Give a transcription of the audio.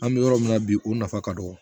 An bɛ yɔrɔ min na bi o nafa ka dɔgɔ